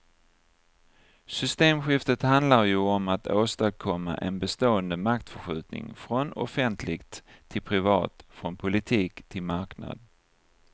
Systemskiftet handlar ju om att åstadkomma en bestående maktförskjutning från offentligt till privat, från politik till marknad.